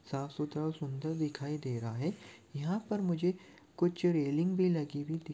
साफ सुथरा और सुंदर दिखाई दे रहा है यहाँ पर मुझे कुछ रेलिग भी लगी हुई दि--